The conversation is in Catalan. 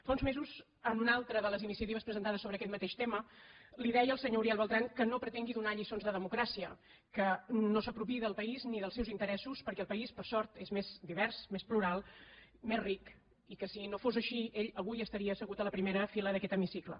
fa uns mesos en una altra de les iniciatives presentades sobre aquest mateix tema li deia al senyor uriel bertran que no pretengui donar lliçons de democràcia que no s’apropiï del país ni dels seus interessos perquè el país per sort és més divers més plural més ric i que si no fos així ell avui estaria asse gut a la primera fila d’aquest hemicicle